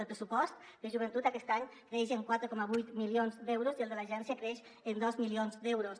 el pressupost de joventut aquest any creix en quatre coma vuit milions d’euros i el de l’agència creix en dos milions d’euros